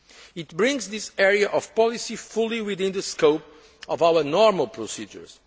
treaty. It brings this area of policy fully within the scope of our normal procedures.